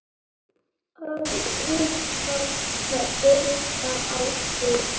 Allir að horfa á þig.